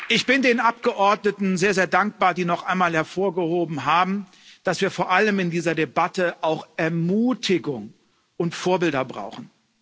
Ich bin den Abgeordneten sehr dankbar, die noch einmal hervorgehoben haben, dass wir vor allem in dieser Debatte auch Ermutigung und Vorbilder brauchen.